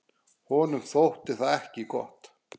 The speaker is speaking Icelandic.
Honum þótti það ekki gott.